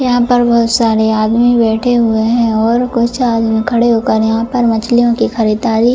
यहां पर बहुत सारे आदमी बैठे हुए हैं और कुछ आदमी में खड़े होकर यहां पर मछलियों की खरीदारी --